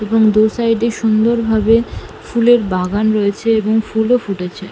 এবং দু সাইড -এ সুন্দরভাবে ফুলের বাগান রয়েছে এবং ফুল ও ফুটেছে ।